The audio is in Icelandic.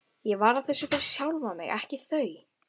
Ég var að þessu fyrir sjálfan mig, ekki þau.